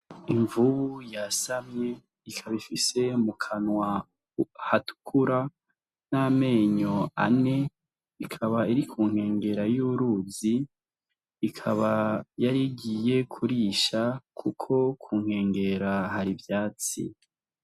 Imvubu yasamye ikaba ifise mukanwa hatukura n'amenyo ane ikaba iri kunkengera y'uruzi ikaba yarigiye kurisha kuko kunkengera hari ivyatsi.